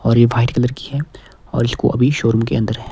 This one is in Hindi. और ये व्हाइट कलर की है और इसको अभी शो रूम के अंदर है।